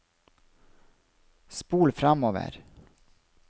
spol framover